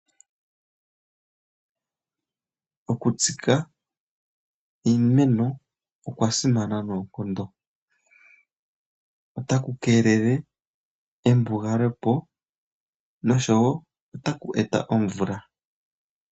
Okutsika iimeno okwasimana nookondo. Otaku keelele embugalepo nosho wo otaku eta omvula.